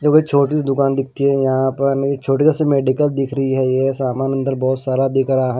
जो छोटी सी दुकान दिखती है यहां पर छोटीयों सी मेडिकल दिख रही है ये सामान अंदर बहुत सारा दिख रहा है।